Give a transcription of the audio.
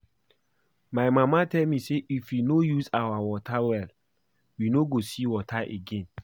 My mama tell us say if we no use our water well we no go see water again